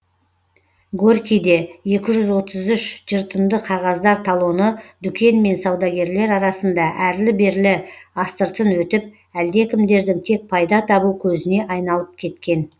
горькийде екі жүз отыз үш жыртынды қағаздар талоны дүкен мен саудагерлер арасында әрлі берлі астыртын өтіп әлдекімдердің тек пайда табу көзіне айналып кеткен